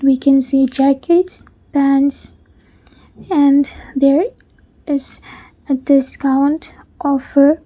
we can see jackets pants and there is a discount offer.